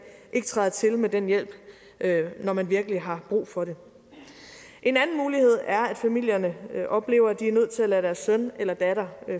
ikke træder til med den hjælp når man virkelig har brug for det en anden mulighed er at familierne oplever at de er nødt til at lade deres søn eller datter